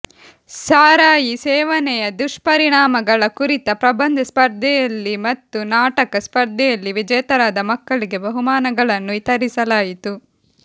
ಸಾರಾಯಿ ಸೇವನೆಯ ದುಷ್ಪರಿಣಾಮಗಳ ಕುರಿತ ಪ್ರಬಂಧ ಸ್ಪರ್ಧೆಯಲ್ಲಿ ಮತ್ತು ನಾಟಕ ಸ್ಪರ್ಧೆಯಲ್ಲಿ ವಿಜೇತರಾದ ಮಕ್ಕಳಿಗೆ ಬಹುಮಾನಗಳನ್ನು ವಿತರಿಸಲಾಯಿತು